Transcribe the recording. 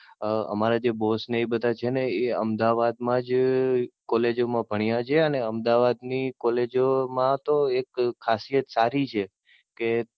અમ અમારા જે Boss ને એ બધા છે ને એ અમદાવાદ માજ, કોલેજો માં ભણ્યા છે. ને અમદાવાદ ની કોલેજો મા તો એક ખાસિયત સારી છે કે,